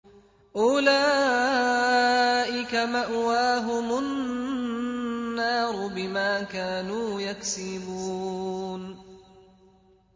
أُولَٰئِكَ مَأْوَاهُمُ النَّارُ بِمَا كَانُوا يَكْسِبُونَ